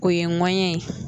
O ye ŋɔnɲɛ ye.